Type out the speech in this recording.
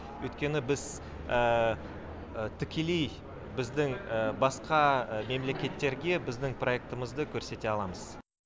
өйткені біз тікелей біздің басқа мемлекеттерге біздің проектімізді көрсете аламыз